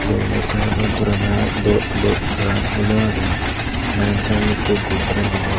denendi saedot dorana do do doran hulo agey bangedi saedot ikko gud deres agey.